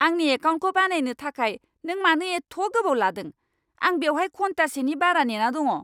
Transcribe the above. आंनि एकाउन्टखौ बानायनो थाखाय नों मानो एथ' गोबाव लादों? आं बेवहाय घन्टासेनि बारा नेना दङ!